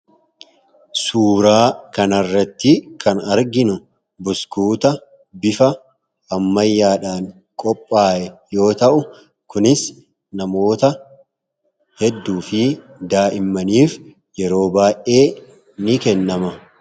suuraa kanarratti kan arginu buskuuta bifa ammayyaadhaan qophaa'e yoo ta'u, kunis namoota hedduu fi daa'immaniif yeroo baay'ee ni kennama.